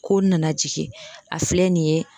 Ko n nana jigin a filɛ nin ye